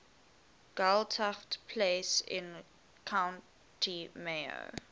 gaeltacht places in county mayo